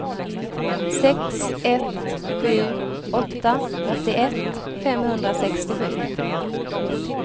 sex ett sju åtta åttioett femhundrasextiosju